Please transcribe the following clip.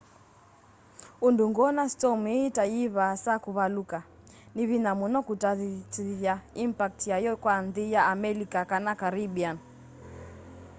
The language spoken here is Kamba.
undu ngwona storm ii ta yivaasa kuvaluka ni vinya muno kutatithya impact yayo kwa nthi ya amelika kana caribbean